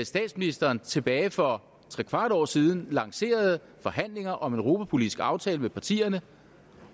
statsministeren tilbage for trekvart år siden lancerede forhandlinger om en europapolitisk aftale med partierne